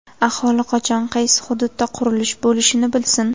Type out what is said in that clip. Aholi qachon qaysi hududda qurilish bo‘lishini bilsin.